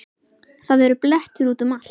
Það eru blettir út um allt.